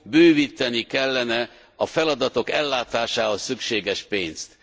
Bővíteni kellene a feladatok ellátásához szükséges pénzt.